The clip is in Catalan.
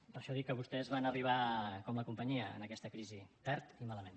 per això dic que vostès van arribar com la companyia en aquesta crisi tard i malament